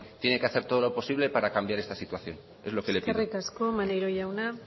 tiene que hacer todo lo posible para cambiar esta situación es lo que le pido eskerrik asko maneiro jauna